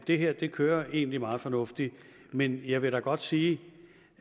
det her kører egentlig meget fornuftigt men jeg vil godt sige